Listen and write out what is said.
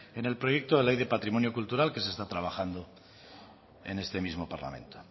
en el proyecto de ley de patrimonio cultural que se está trabajando en este mismo parlamento